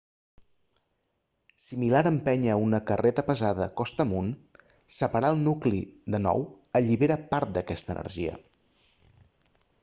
similar a empènyer una carreta pesada costa amunt separar el nucli de nou allibera part d'aquesta energia